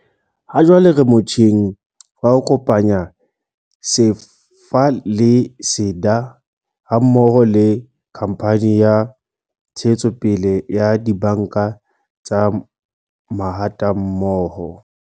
"Hajwale re motjheng wa ho kopanya SEFA le SEDA ha mmoho le Khamphane ya Ntshetsopele ya Dibanka tsa Mahatammoho."